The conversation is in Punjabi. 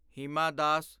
ਹਿਮਾ ਦਾਸ